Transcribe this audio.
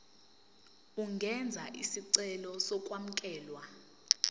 ungenza isicelo sokwamukelwa